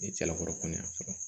Ni cɛlakɔ kɔni y'a sɔrɔ